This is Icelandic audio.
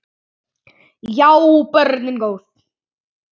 Já, börnin góð.